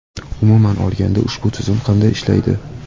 Umuman olganda, ushbu tizim qanday ishlaydi?